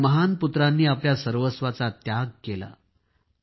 या महान पुत्रांनी आपल्या सर्वस्वाचा त्याग केला आहे